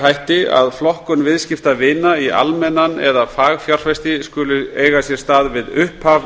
hætti að flokkun viðskiptavina í almennan eða fagfjárfesti skuli eiga sér stað við upphaf